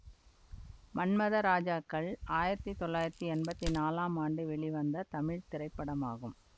மன்மத ராஜாக்கள் ஆயிரத்தி தொள்ளாயிரத்தி எம்பத்தி நாலாம் ஆண்டு வெளிவந்த தமிழ் திரைப்படமாகும்